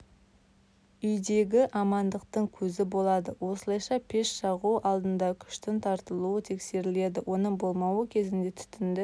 үйдегі амандықтың көзі болады осылайша пеш жағу алдында күштің тартылуы тексеріледі оның болмауы кезінде түтіңді